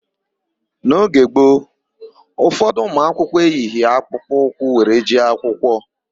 N'oge gboo, ụfọdụ ụmụakwụkwọ eyighị akpụkpọ ụkwụ were jee akwụkwọ.